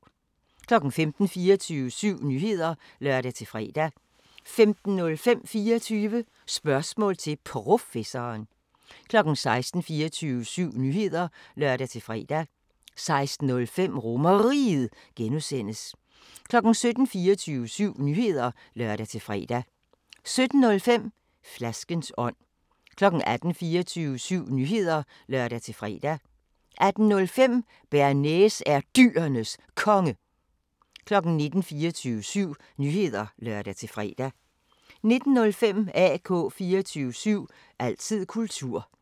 15:00: 24syv Nyheder (lør-fre) 15:05: 24 Spørgsmål til Professoren 16:00: 24syv Nyheder (lør-fre) 16:05: RomerRiget (G) 17:00: 24syv Nyheder (lør-fre) 17:05: Flaskens ånd 18:00: 24syv Nyheder (lør-fre) 18:05: Bearnaise er Dyrenes Konge 19:00: 24syv Nyheder (lør-fre) 19:05: AK 24syv – altid kultur